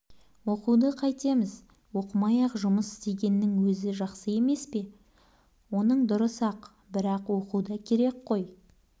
оқуды қайтеміз оқымай-ақ жұмыс істегеннің өзі жақсы емес пе оның дұрыс-ақ бірақ оқу да керек қой